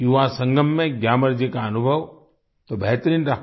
युवा संगम में ग्यामर जी का अनुभव तो बेहतरीन रहा